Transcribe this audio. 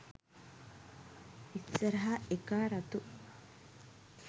ඉස්සරහ එකා රතු